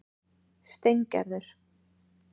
Steingerður